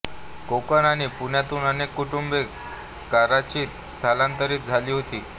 कोकण आणि पुण्यातून अनेक कुटुंबे कराचीत स्थलांतरित झाली होती